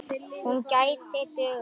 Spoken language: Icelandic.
Hún gæti dugað.